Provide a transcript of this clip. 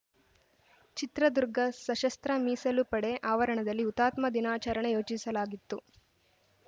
ಚಿತ್ರದುರ್ಗ ಸಶಸ್ತ್ರ ಮೀಸಲು ಪಡೆ ಆವರಣದಲ್ಲಿ ಹುತಾತ್ಮ ದಿನಾಚರಣೆ ಯೋಚಿಸಲಾಗಿತ್ತು